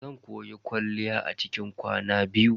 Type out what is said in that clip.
Zan koyi kwalliya a cikin kwana biyu.